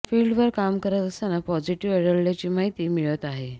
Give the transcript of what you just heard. फिल्डवर काम करत असताना पॉझिटिव्ह आढळल्याची माहिती मिळत आहे